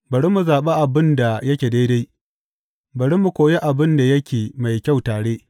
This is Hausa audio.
Bari mu zaɓi abin da yake daidai, bari mu koyi abin da yake mai kyau tare.